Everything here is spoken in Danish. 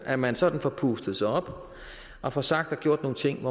at man sådan får pustet sig op og får sagt og gjort nogle ting